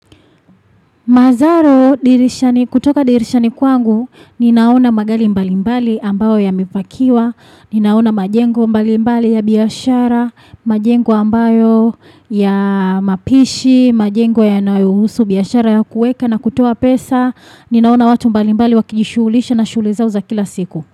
Mazaro, kutoka dirishani kwangu, ninaona magari mbali mbali ambayo yamepakiwa, ninaona majengo mbali mbali ya biashara, majengo ambayo ya mapishi, majengo ya nayohusu biashara ya kueka na kutoa pesa, ninaona watu mbali mbali wakijishughulisha na shule zao za kila siku.